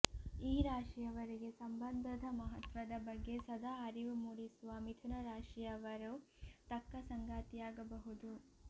ಈ ರಾಶಿಯವರಿಗೆ ಸಂಬಂಧದ ಮಹತ್ವದ ಬಗ್ಗೆ ಸದಾ ಅರಿವು ಮೂಡಿಸುವ ಮಿಥುನ ರಾಶಿಯವರು ತಕ್ಕ ಸಂಗಾತಿಯಾಗಬಹುದು